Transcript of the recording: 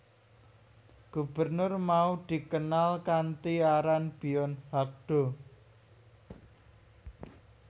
Gubernur mau dikenal kanthi aran Byon Hak do